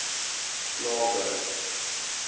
klawer